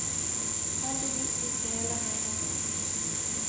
Heldigvis gikk det hele meget bra.